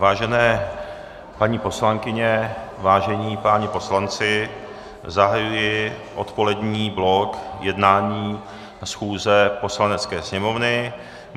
Vážené paní poslankyně, vážení páni poslanci, zahajuji odpolední blok jednání schůze Poslanecké sněmovny.